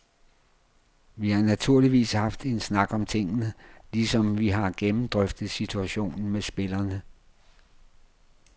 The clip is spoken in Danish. Vi har naturligvis haft en snak om tingene, ligesom vi har gennemdrøftet situationen med spillerne.